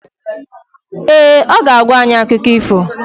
Ee, ọ ga-agwa anyị akụkọ ifo